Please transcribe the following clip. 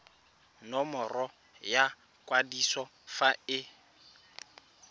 nomoro ya kwadiso fa e